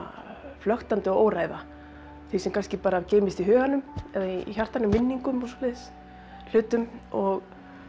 flöktandi og óræða því sem kannski bara geymist í huganum eða í hjartanu minningum og svoleiðis hlutum og